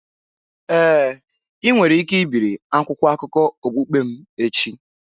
Ee, ị nwere ike ibiri akwụkwọ akụkọ okpukpe m echi.